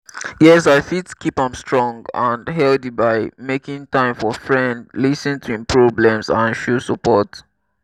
yes i fit keep am strong and healthy by making time for friend lis ten to im problems and show support.